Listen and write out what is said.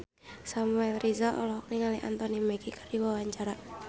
Samuel Rizal olohok ningali Anthony Mackie keur diwawancara